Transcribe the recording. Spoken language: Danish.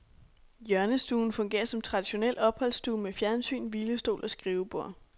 Hjørnestuen fungerer som traditionel opholdsstue med fjernsyn, hvilestol og skrivebord.